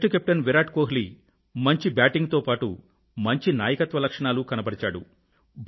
test captain Virat Kohli మంచి batting తో పాటూ మంచి నాయకత్వ లక్షణాలు కనబరిచాడు